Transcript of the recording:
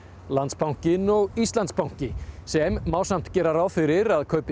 Landsbankinn og Íslandsbanki sem má samt gera ráð fyrir að kaupi